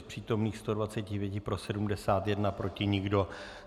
Z přítomných 125 pro 71, proti nikdo.